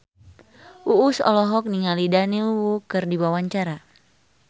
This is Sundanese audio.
Uus olohok ningali Daniel Wu keur diwawancara